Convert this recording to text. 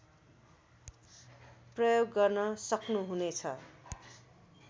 प्रयोग गर्न सक्नुहुनेछ